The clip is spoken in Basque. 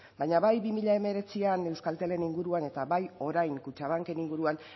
baina bai bi mila hemeretzian euskaltelen inguruan eta bai orain kutxabanken inguruan